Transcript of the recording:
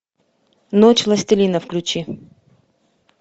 ночь властелина включи